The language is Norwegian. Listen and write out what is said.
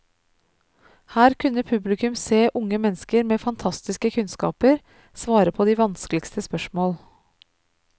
Her kunne publikum se unge mennesker med fantastiske kunnskaper svare på de vanskeligste spørsmål.